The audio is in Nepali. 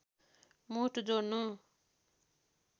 मुठ जोड्नु